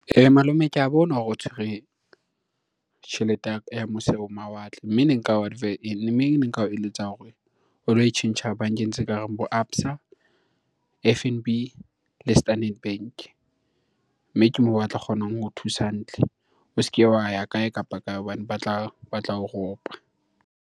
Malome ke a bona hore o tshwere tjhelete ya mose ho mawatle. Mme ne nka ne nka o eletsa hore o lo e tjhentjha bankeng tse kareng bo ABSA, F_N_B le Standard Bank-e. Mme ke mo batla kgonang ho thusa hantle. O se ke wa ya kae kapa kae hobane ba tla o ropa.